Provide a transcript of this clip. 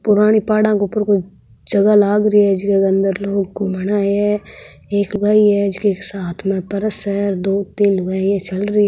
पुरानी पहाड़ा के ऊपर कोई जगह लाग री है जीके अंदर लोग घूमना आया है एक लुगाई है जिसके हाथ में पर्स है दो तीन लुगाई चल रही है।